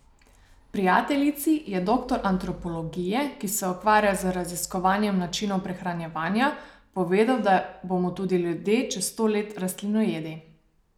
Prijateljici je doktor antropologije, ki se ukvarja z raziskovanjem načinov prehranjevanja, povedal, da bomo ljudje čez sto let rastlinojedi.